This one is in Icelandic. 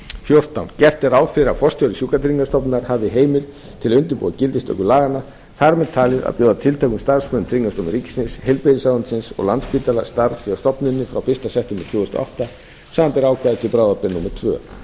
fjórtán gert er ráð fyrir að forstjóri sjúkratryggingastofnunarinnar hafi heimild til að undirbúa gildistöku laganna þar með talin að bjóða tilteknum starfsmönnum tryggingastofnunar ríkisins heilbrigðisráðuneytis og landspítala starf hjá stofnuninni frá fyrsta september tvö þúsund og átta samanber ákvæði til bráðabirgða númer tvö